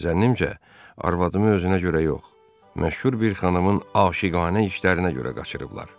Zənnimcə, arvadımı özünə görə yox, məşhur bir xanımın aşiqanə işlərinə görə qaçırıblar.